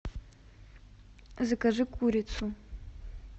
закажи курицу